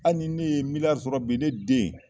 Hali ni ne ye sɔrɔ bi ne den